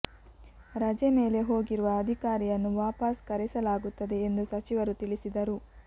ರಜೆ ಮೇಲೆ ಹೋಗಿರುವ ಅಧಿಕಾರಿಯನ್ನು ವಾಪಸ್ ಕರೆಸಲಾಗುತ್ತದೆ ಎಂದು ಸಚಿವರು ತಿಳಿಸಿದರು